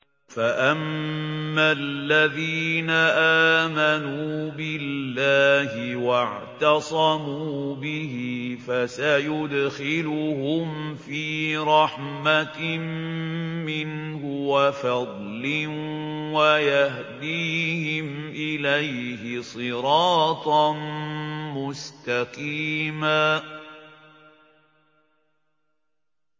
فَأَمَّا الَّذِينَ آمَنُوا بِاللَّهِ وَاعْتَصَمُوا بِهِ فَسَيُدْخِلُهُمْ فِي رَحْمَةٍ مِّنْهُ وَفَضْلٍ وَيَهْدِيهِمْ إِلَيْهِ صِرَاطًا مُّسْتَقِيمًا